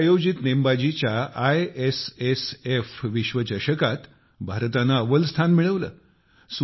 दिल्लीत आयोजित नेमबाजीच्या आयएसएसएफ विश्वचषकात भारताने अव्वल स्थान मिळविले